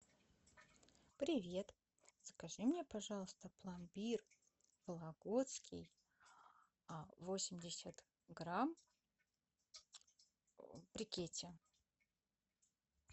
привет закажи мне пожалуйста пломбир вологодский восемьдесят грамм в брикете